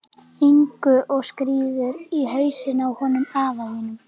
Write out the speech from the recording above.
Ingu og skírður í hausinn á honum afa þínum.